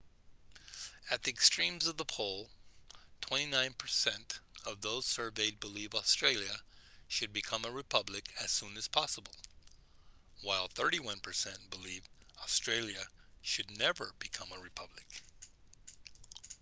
at the extremes of the poll 29 per cent of those surveyed believe australia should become a republic as soon as possible while 31 per cent believe australia should never become a republic